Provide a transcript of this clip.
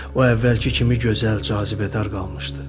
O əvvəlki kimi gözəl, cazibədar qalmışdı.